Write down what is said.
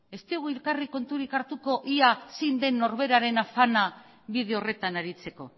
ez diogu elkarri konturik hartuko ia zein den norberaren afana bide horretan aritzeko